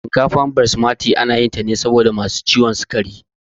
Shinkafar Batimasi ayi tane musamman saboda masu ciwon sukari